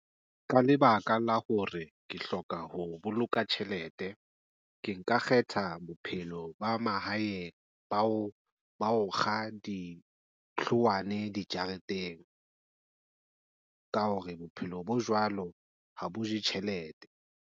Ka lebaka la hore ke hloka ho boloka tjhelete ke nka kgetha bophelo ba mahaeng ba o kga dithowana dijareteng ka hore bophelo bo jwalo ha bo je tjhelete.